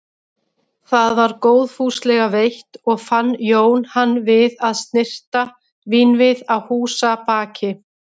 Það var góðfúslega veitt og fann Jón hann við að snyrta vínvið að húsabaki.